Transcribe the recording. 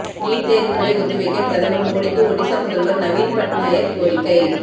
NEET தேர்வுகளை ஒத்திவைக்க பிரதமர் மோடிக்கு ஒடிஷா முதல்வர் நவீன் பட்நாயக் கோரிக்கை